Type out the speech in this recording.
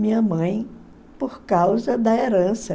Minha mãe, por causa da herança.